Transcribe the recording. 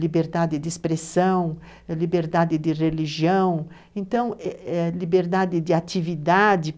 liberdade de expressão, liberdade de religião, então, liberdade de atividade.